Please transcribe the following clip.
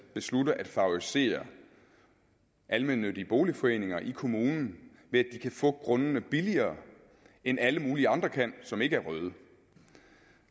beslutte at favorisere almennyttige boligforeninger i kommunen ved at de kan få grundene billigere end alle mulige andre kan som ikke er røde